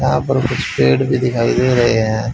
यहां पर कुछ पेड़ भी दिखाई दे रहे हैं।